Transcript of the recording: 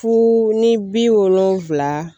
Fu ni bi wolonwula